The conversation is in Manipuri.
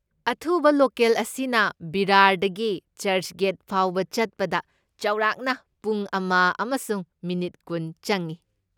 ꯑꯊꯨꯕ ꯂꯣꯀꯦꯜ ꯑꯁꯤꯅ ꯚꯤꯔꯥꯔꯗꯒꯤ ꯆꯔꯆꯒꯦꯠ ꯐꯥꯎꯕ ꯆꯠꯄꯗ ꯆꯥꯎꯔꯥꯛꯅ ꯄꯨꯡ ꯑꯃ ꯑꯃꯁꯨꯡ ꯃꯤꯅꯤꯠ ꯀꯨꯟ ꯆꯪꯏ꯫